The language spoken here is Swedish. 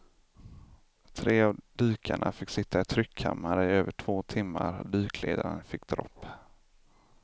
Tre av dykarna fick sitta i tryckkammare i över två timmar och dykledaren fick dropp.